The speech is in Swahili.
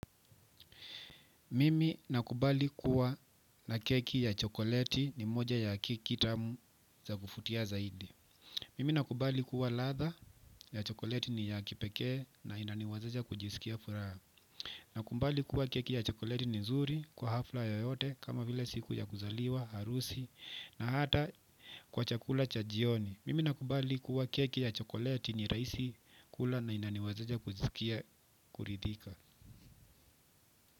Mimi nakubali kuwa na keki ya chokoleti ni moja ya keki tamu za kuvutia zaidi. Mimi nakubali kuwa ladha ya chokoleti ni ya kipekee na inaniwazesha kujisikia furaha. Nakubali kuwa keki ya chokoleti ni nzuri kwa hafla yoyote kama vile siku ya kuzaliwa, harusi na hata kwa chakula cha jioni. Mimi nakubali kuwa keki ya chokoleti ni rahisi kula na inaniwezesha kujisikia kuridhika.